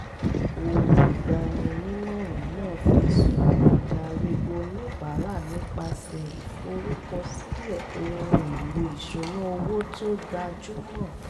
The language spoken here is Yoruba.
olùgbani-nímọ̀ràn náà fi sùúrù darí oníbàárà nípasẹ̀ ìforúkọsílẹ̀ ohun èlò ìṣúnná owó tó gbajúmọ̀